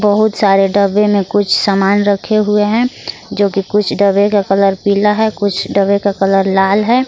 बहुत सारे डब्बे में कुछ सामान रखे हुए हैं जो कि कुछ डब्बे का कलर पीला है कुछ डब्बे का कलर लाल है।